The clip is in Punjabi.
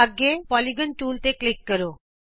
ਅੱਗੇ ਪੋਲੀਗਨ ਟੂਲ ਤੇ ਕਲਿਕ ਕਰੋ